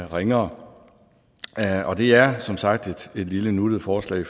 ringere og det er som sagt et lille nuttet forslag